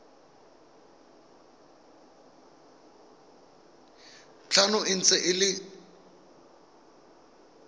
tlhano e ntse e le